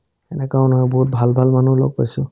এনেকা মানুহ বহুত ভাল ভাল মানুহ লগ পাইছো